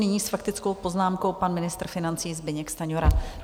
Nyní s faktickou poznámkou pan ministr financí Zbyněk Stanjura.